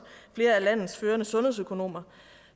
flere af landets førende sundhedsøkonomer